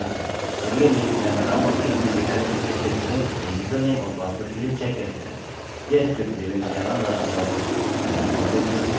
यह इस भाग का अंत है अगले में मैं बताऊँगा कि अपने डेटाबेस से कैसे जुड़ें और यूजरनेम और पासवर्ड के लिए चेक कैसे करें